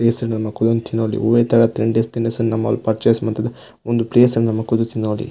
Place ಡು ನಮ ಕುಲೊಂದು ತಿನೊಲಿ ಒವ್ವೇ ತರದ ತಿಂಡಿ ತಿನಸುನ ನಮ ಪರ್ಚೇಸ್ ಮಂತುದು ಉಂದು ಪ್ಲೇಸ್ ನು ನಮ ಕುಲ್ದು ತಿನೊಲಿ.